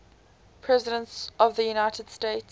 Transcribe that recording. presidents of the united states